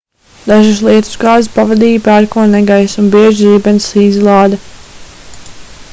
dažas lietusgāzes pavadīja pērkona negaiss un bieža zibensizlāde